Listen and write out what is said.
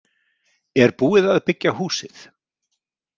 Er búið að byggja húsið?